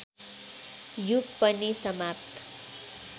युग पनि समाप्त